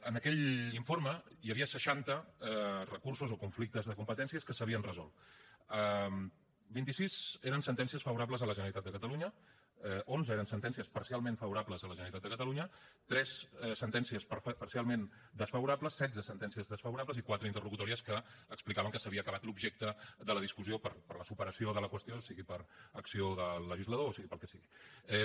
en aquell informe hi havia seixanta recursos o conflictes de competències que s’havien resolt vint sis eren sentències favorables a la generalitat de catalunya onze eren sentències parcialment favorables a la generalitat de catalunya tres sentències parcialment desfavorables setze sentències desfavorables i quatre interlocutòries que explicaven que s’havia acabat l’objecte de la discussió per la superació de la qüestió sigui per acció del legislador o sigui pel que sigui